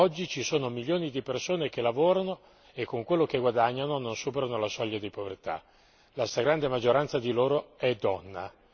Oggi ci sono milioni di persone che lavorano e con quello che guadagnano non superano la soglia di povertà. La stragrande maggioranza di loro è donna.